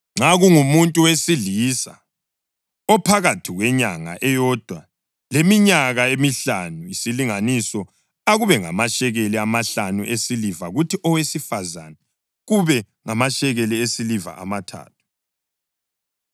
Nxa kungumuntu wesilisa ophakathi kwenyanga eyodwa leminyaka emihlanu, isilinganiso akube ngamashekeli amahlanu esiliva kuthi owesifazane kube ngamashekeli esiliva amathathu.